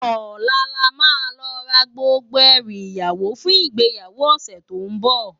Òlá làmá lò rá gbógbó èrú iyáwó fún igbéyáwó òsè tó n bò